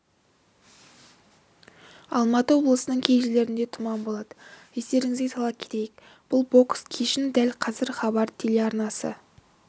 алматы облысының кей жерлерінде тұман болады естеріңізге сала кетейік бұл бокс кешін дәл қазір хабар телеарнасы